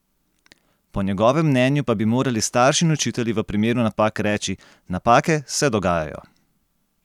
Po njegovem mnenju pa bi morali starši in učitelji v primeru napak reči: "Napake se dogajajo.